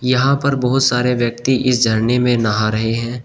यहां पर बहोत सारे व्यक्ति इस झरने में नहा रहे हैं।